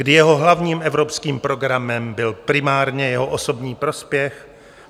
Kdy jeho hlavním evropským programem byl primárně jeho osobní prospěch?